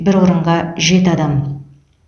бір орынға жеті адам